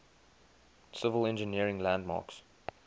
civil engineering landmarks